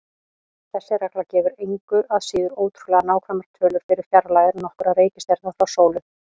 Þessi regla gefur engu að síður ótrúlega nákvæmar tölur fyrir fjarlægðir nokkurra reikistjarna frá sólu.